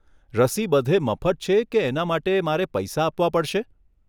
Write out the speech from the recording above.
રસી બધે મફત છે કે એના માટે મારે પૈસા આપવા પડશે?